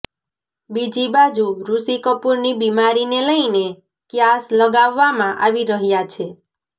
બીજી બાજુ ઋષિ કપૂરની બીમારીને લઇને ક્યાસ લગાવવામાં આવી રહ્યાં છે